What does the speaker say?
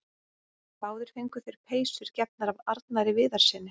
Báðir fengu þeir peysur gefnar af Arnari Viðarssyni.